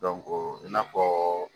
i n'a fɔɔ